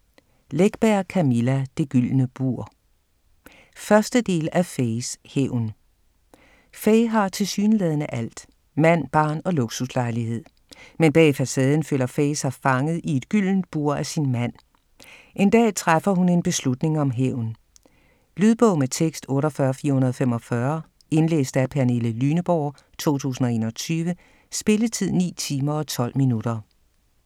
Läckberg, Camilla: Det gyldne bur 1. del af Fayes hævn. Faye har tilsyneladende alt: mand, barn og luksuslejlighed. Men bag facaden føler Faye sig fanget i et gyldent bur af sin mand. En dag træffer hun en beslutning om hævn. Lydbog med tekst 48445 Indlæst af Pernille Lyneborg, 2021. Spilletid: 9 timer, 12 minutter.